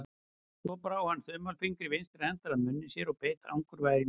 Svo brá hann þumalfingri vinstri handar að munni sér og beit angurvær í nöglina.